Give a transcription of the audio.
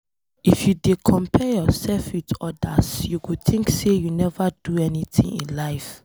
If you dey compare yourself with odas, you go think sey you neva do anything for life.